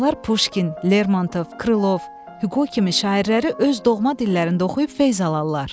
Onlar Puşkin, Lermontov, Krılov, Hüqo kimi şairləri öz doğma dillərində oxuyub feyz alarlar.